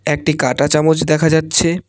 একটি কাঁটা চামচ দেখা যাচ্ছে।